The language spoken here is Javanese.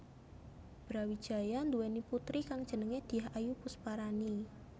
Brawijaya nduwèni putri kang jenenge Dyah Ayu Pusparani